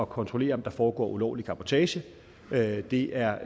kontrollere om der foregår ulovlig cabotage det det er